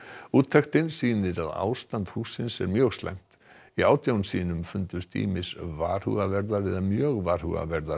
úttektin sýnir að ástand hússins er mjög slæmt í átján sýnum fundust ýmist varhugaverðar eða mjög varhugaverðar